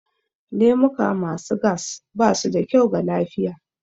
Lemuka ma su gas ba su da kyau ga lafiya